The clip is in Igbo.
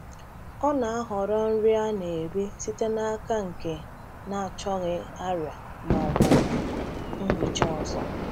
Ọ na-ahọrọ nri a na-eri site n’aka nke na-achọghị arịa ma ọ bụ nhicha ọzọ.